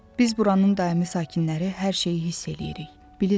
Biz buranın daimi sakinləri hər şeyi hiss eləyirik, bilirik.